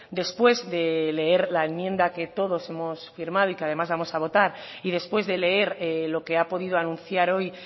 después de leer la enmienda que todos hemos firmado y que además vamos a votar y después de leer lo que ha podido anunciar hoy